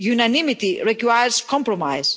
Unanimity requires compromise.